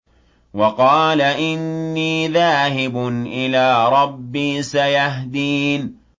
وَقَالَ إِنِّي ذَاهِبٌ إِلَىٰ رَبِّي سَيَهْدِينِ